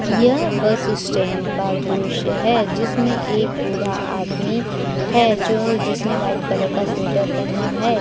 यह bus stand का दृश्य है जिसमें एक बूढ़ा आदमी है जो जिसने व्हाइट कलर का स्वेटर पहना है।